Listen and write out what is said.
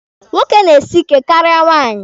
Nwoke na-esi ike karịa nwaanyị.